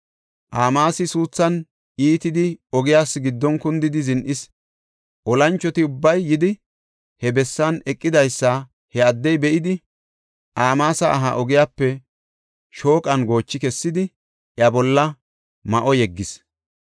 Amaasi suuthan iitidi ogiyas giddon kundidi zin7is. Olanchoti ubbay yidi, he bessan eqidaysa he addey be7idi, Amaasa aha ogiyape shooqan goochi kessidi, iya bolla ma7o yeggis.